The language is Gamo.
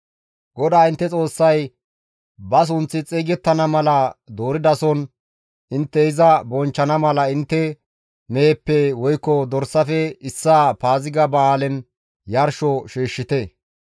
GODAA intte Xoossay ba sunththi xeygettana mala dooridason intte iza bonchchana mala intte meheppe, woykko dorsafe issaa Paaziga ba7aalen yarsho shiishshite.